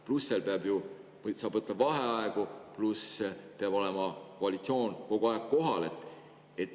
Pluss see, et sa võid võtta vaheaegu, pluss see, et siis peab koalitsioon olema kogu aeg kohal.